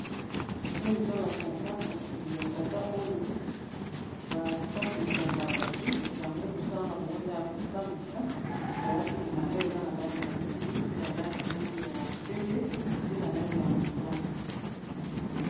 Oyo eza ba tata kasi ba tata oyo basambisaka bato yango mosala na bango eza ya kosambisa balati bilamba eza na langi ya mwindu pe na langi ya pembe mpe na langi ya motane.